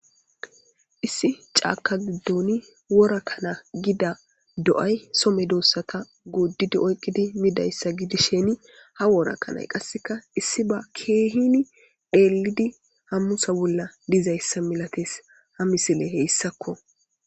Issi cama gidoni wora kana giza do'ay so medosata goodidinne oykidi midaysa gidishin ha wora kanay qaseka issi ba keehini dheridi hamutha bolla dizaysa malatees haidiley haysako.